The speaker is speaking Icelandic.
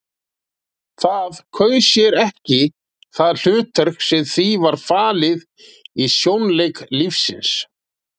Það kaus sér ekki það hlutverk sem því var falið í sjónleik lífsins.